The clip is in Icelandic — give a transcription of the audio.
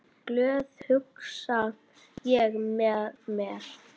Glöð, hugsa ég með mér.